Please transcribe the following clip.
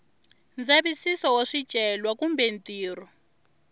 ndzavisiso wa swicelwa kumbe ntirho